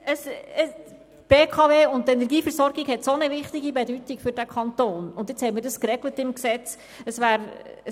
Die BKW und die Energieversorgung sind von solch wichtiger Bedeutung für diesen Kanton, und nun hat man das im Gesetz geregelt.